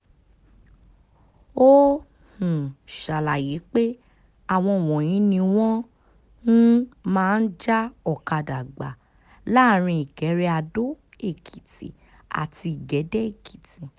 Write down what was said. ó um ṣàlàyé pé àwọn wọ̀nyí ni wọ́n um máa ń já ọ̀kadà gbà láàrin ìkẹrẹàdó-èkìtì àti ìgédé-èkìtì